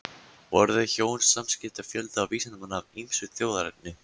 Voru þau hjón samskipa fjölda vísindamanna af ýmsu þjóðerni.